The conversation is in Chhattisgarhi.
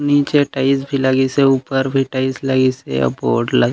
नीचे टाइल्स भी लगीसे ऊपर भी टाइल्स भी लगीसे अऊ बोर्ड लग--